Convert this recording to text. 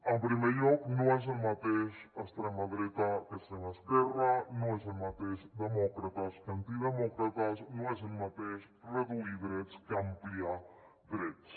en primer lloc no és el mateix extrema dreta que extrema esquerra no és el mateix demòcrates que antidemòcrates no és el mateix reduir drets que ampliar drets